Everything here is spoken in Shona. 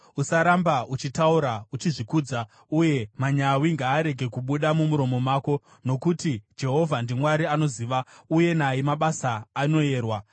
“Usaramba uchitaura uchizvikudza uye manyawi ngaarege kubuda mumuromo mako, nokuti Jehovha ndiMwari anoziva, uye naye mabasa anoyerwa.